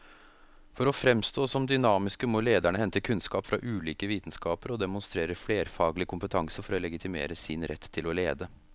For å framstå som dynamiske må lederne hente kunnskap fra ulike vitenskaper og demonstrere flerfaglig kompetanse for å legitimere sin rett til å lede.